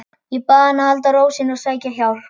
Ég bað hana að halda ró sinni og sækja hjálp.